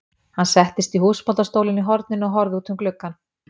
Hann settist í húsbóndastólinn í horninu og horfði út um gluggann.